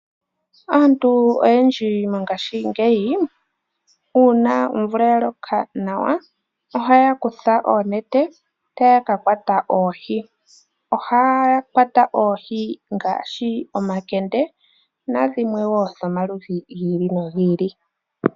Aantu oyendji mongashingeyi uuna omvula ya loka nawa, ohaya kutha oonete taya ka kwata oohi. Ohaya kwata oohi ngaashi omakende nadhimwe wo dhomaludhi gi ili nogi ili.